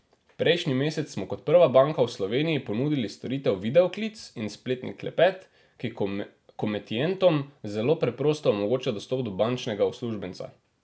Prejšnji mesec smo kot prva banka v Sloveniji ponudili storitev videoklic in spletni klepet, ki komitentom zelo preprosto omogočata dostop do bančnega uslužbenca.